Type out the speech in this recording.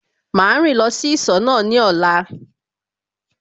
Màá rìn lọ sí ìsọ̀ náà ní ọ̀la